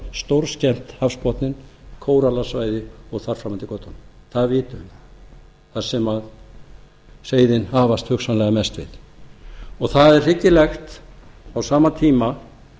stórskemmt hafsbotninn kórallasvæði og þar fram eftir götunum það vitum við þar sem seiðin hafast hugsanlega mest við það er hryggilegt að á sama tíma